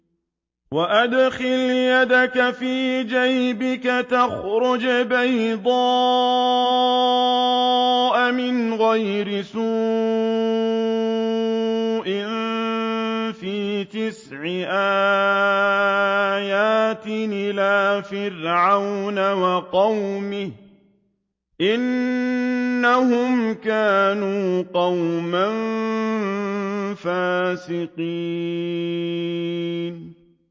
وَأَدْخِلْ يَدَكَ فِي جَيْبِكَ تَخْرُجْ بَيْضَاءَ مِنْ غَيْرِ سُوءٍ ۖ فِي تِسْعِ آيَاتٍ إِلَىٰ فِرْعَوْنَ وَقَوْمِهِ ۚ إِنَّهُمْ كَانُوا قَوْمًا فَاسِقِينَ